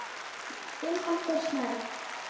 Þinn Halldór Snær.